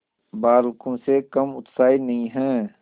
बालकों से कम उत्साही नहीं है